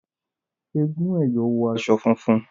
Èègún " ẹyọ ", wọ aṣọ funfun